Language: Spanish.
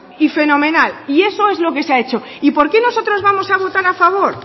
y fenomenal y eso es lo que se ha hecho y por qué nosotros vamos a votar a favor